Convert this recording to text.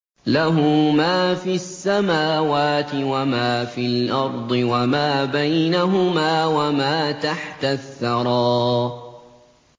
لَهُ مَا فِي السَّمَاوَاتِ وَمَا فِي الْأَرْضِ وَمَا بَيْنَهُمَا وَمَا تَحْتَ الثَّرَىٰ